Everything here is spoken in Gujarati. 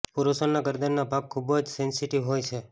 પુરુષોના ગરદનનો ભાગ ખૂબ જ સેંસેટિવ હોય છે